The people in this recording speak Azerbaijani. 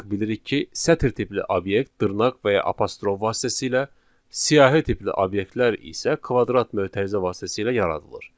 Biz artıq bilirik ki, sətir tipli obyekt dırnaq və ya apostrof vasitəsilə, siyahi tipli obyektlər isə kvadrat mötərizə vasitəsilə yaradılır.